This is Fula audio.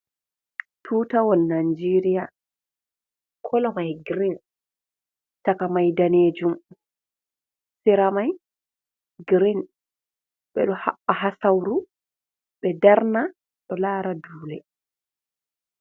Tutawol najeria. Kolo mai gireen. Chakmai ɗanejum. Seramai gireen. Beɗo babba ha sauru be ɗarna ɗo lara ɗule.